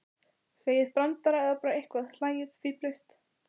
Segið brandara eða bara eitthvað, hlæið, fíflist.